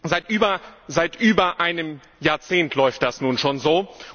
Seit über einem Jahrzehnt läuft das nun schon so.